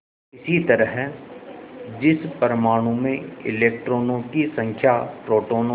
इसी तरह जिस परमाणु में इलेक्ट्रॉनों की संख्या प्रोटोनों से